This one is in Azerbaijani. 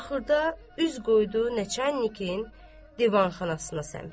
Axırda üz qoydu Nəçannikin divanxanasına səmt.